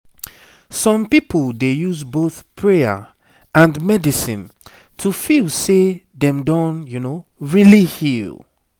some people dey use both prayer and medicine to feel say dem don really heal